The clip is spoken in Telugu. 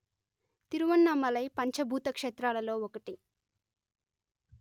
తిరువన్నమలై పంచ భూత క్షేత్రాలలో ఒకటి